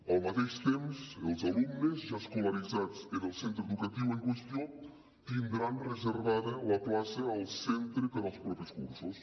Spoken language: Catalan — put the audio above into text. al mateix temps els alumnes ja escolaritzats en el centre educatiu en qüestió tindran reservada la plaça al centre per als propers cursos